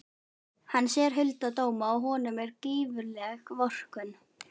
Hann sér hulda dóma og honum er gífurleg vorkunn.